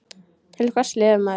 Til hvers lifir maður?